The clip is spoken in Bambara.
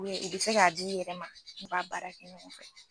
I bɛ se k'a di yɛrɛ ma, an b'a baara kɛ ɲɔgɔn fɛ.